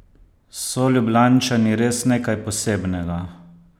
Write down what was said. So Ljubljančani res nekaj posebnega?